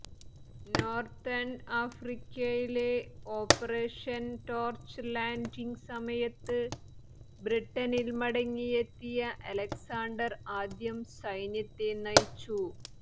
northern ആഫ്രിക്കയിലെ operation torch landing സമയത്ത് ബ്രിട്ടനിൽ മടങ്ങിയെത്തിയ അലക്സാണ്ടർ ആദ്യം സൈന്യത്തെ നയിച്ചു